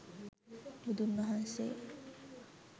බුදුන් වහන්සේ